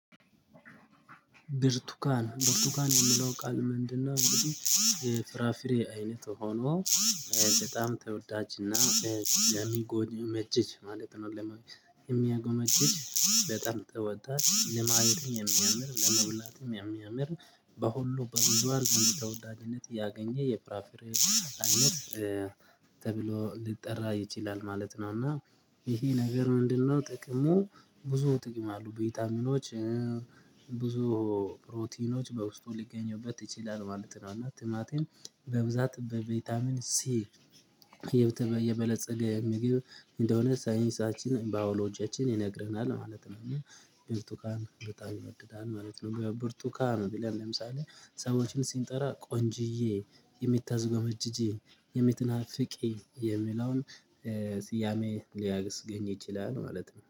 ብርቱካን ብርቱካን የሚለው ቃል ምንድነው? እንግዲህ የፍራፍሬ አይነት ሆኖ በጣም ተወዳጅና የሚጎኘመጀጅ ማለት ነው። የሚያጎመጅጅ በጣም ጥሩ ወጣት ለማየት የሚያምር ለመብላትም የሚያምር በሁሉ በወንዷ ልጅ ለወዳጅነት ያገኘ የፍራፍሬ አይነት ተብሎ ሊጠራ ይችላል ማለት ነው። እና ይሄ ነገር ምንድነው ጥቅሙ? ብዙ ጥቅም አሉ ቪታሚኖች ብዙ ፕሮቲኖች በውስጡ ሊገኙበት ይችላሉ ማለት ነው። እና ትምህርቴን በብዛት በቪታሚን ሲ የበለፀገ ምግብ እንደሆነ ሳይንሳችን ባዮሎጂያችን ይነግረናል ማለት ነው። እና ብርቱካን በጣም ይወደዳል ማለት ነው። ብርቱካን ቢለል ለምሳሌ ሰዎችን ሲንጠራ ቆንጅዬ የሚታዝጎመጅጂ የሚትናፍቂ የሚለውን ስያሜ ሊያግስ ገኝ ይችላል ማለት ነው